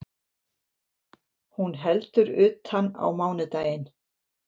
Hún heldur utan á mánudaginn